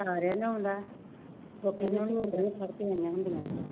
ਸਾਰਿਆਂ ਨੂੰ ਆਂਉਂਦਾ, ਉਹ ਕਹਿੰਦੀਆਂ ਹੋਣੀਆਂ ਫੜਕੇ ਆਈਆਂ ਹੁੰਦੀਆਂ।